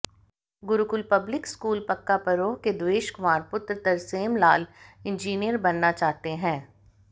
Gurukul public school Pakka Paroh के देवेश कुमार पुत्र Tarsem Lal engineer बनना चाहते हैं